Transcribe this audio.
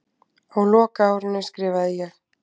Á lokaárinu skrifaði ég